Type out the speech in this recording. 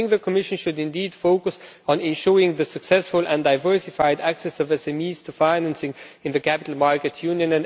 I think the Commission should indeed focus on ensuring the successful and diversified access of SMEs to financing in the capital markets union.